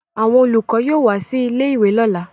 Àwọn olùkọ́ yóò wá sí ilé-ìwé lọ́la